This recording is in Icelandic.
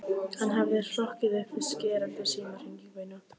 Hann hafði hrokkið upp við skerandi símhringingu nótt